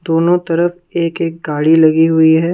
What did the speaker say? दोनों तरफ एक-एक गाड़ी लगी हुई है ।